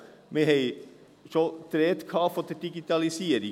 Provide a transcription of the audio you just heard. Es war schon die Rede von der Digitalisierung.